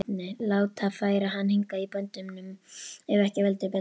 Láta færa hann hingað í böndum ef ekki vildi betur.